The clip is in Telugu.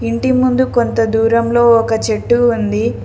ఇంటి ముందు కొంత దూరంలో ఒక చెట్టు ఉంది.